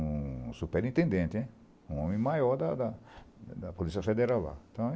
Um superintendente hein, um homem maior da da da da Polícia Federal lá. Então